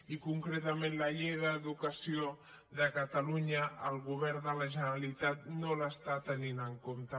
i concretament la llei d’educació de catalunya el govern de la generalitat no l’està tenint en compte